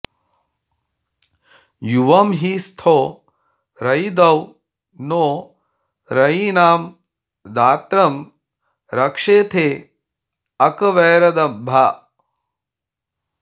युवं हि स्थो रयिदौ नो रयीणां दात्रं रक्षेथे अकवैरदब्धा